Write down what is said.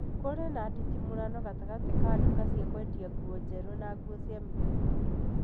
kurĩ na nditimũrano gatagatĩ ka nduka cia kwendia nguo njerũ na nguo cia mũtũmba.